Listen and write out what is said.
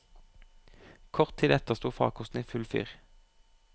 Kort tid etter sto farkosten i full fyr.